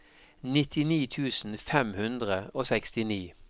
nittini tusen fem hundre og sekstini